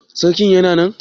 Sarki Yana nan?